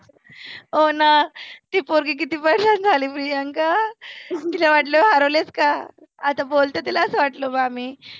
हो ना ती पोगी किती परेशान झाली प्रियंका. तीला वाटलं हरवलेच का? आता बोलतो असं वाटल बुआ मी